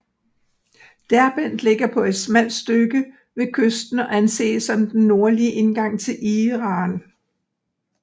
Derbent ligger på et smalt stykke ved kysten og anses som den nordlige indgang til Iran